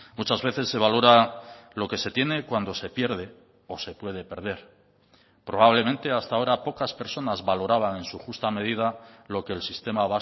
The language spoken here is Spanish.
muchas veces se valora lo que se tiene cuando se pierde o se puede perder probablemente hasta ahora pocas personas valoraban en su justa medida lo que el sistema